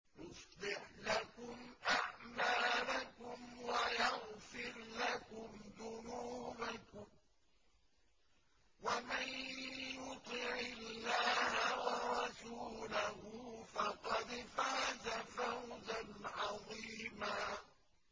يُصْلِحْ لَكُمْ أَعْمَالَكُمْ وَيَغْفِرْ لَكُمْ ذُنُوبَكُمْ ۗ وَمَن يُطِعِ اللَّهَ وَرَسُولَهُ فَقَدْ فَازَ فَوْزًا عَظِيمًا